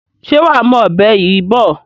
Ṣé wàá mú ọ̀bẹ yìí bọ̀?